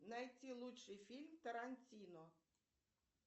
найти лучший фильм тарантино